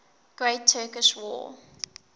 great turkish war